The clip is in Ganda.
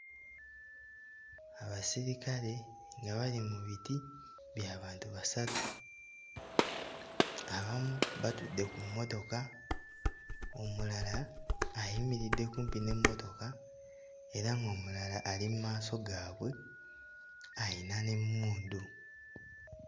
Abasirikale nga bali mu biti bya bantu basatu; abamu batudde ku mmotoka, omulala ayimiridde kumpi n'emmotoka era ng'omulala ali mu maaso gaabwe ayina n'emmundu.